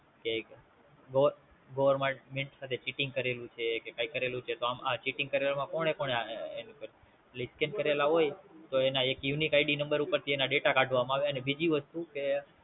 કે Govt With Cheating કરેલું છે કે કે કરેલું છે તો આમ આ Cheating કર્યું એમાં કોને કોને એટલે Scam કરેલા હોય તો એના એક UniqueID નંબર ઉપરથી એને Data કાઢવામાં આવે અને બીજી વસ્તુ કે